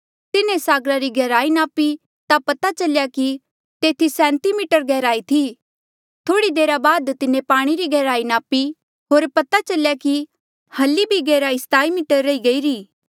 तिन्हें सागरा री गैहराई नापी ता पता चल्या कि तेथी सैंती मीटर गैहराई थी थोह्ड़ी देरा बाद तिन्हें पाणी री गैहराई नापी होर पता चल्या कि हली भी गैहराई सताई मीटर रही गईरी